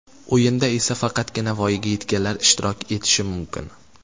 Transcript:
O‘yinda esa faqatgina voyaga yetganlar ishtirok etishi mumkin.